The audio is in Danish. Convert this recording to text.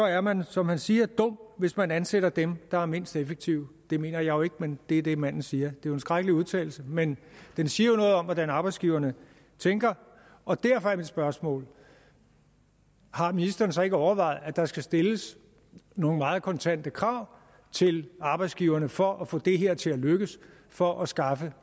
er man som han siger dum hvis man ansætter den der er mindst effektiv det mener jeg jo ikke men det er det manden siger det en skrækkelig udtalelse men den siger jo noget om hvordan arbejdsgiverne tænker og derfor er mit spørgsmål har ministeren så ikke overvejet at der skal stilles nogle meget kontante krav til arbejdsgiverne for at få det her til at lykkes for at skaffe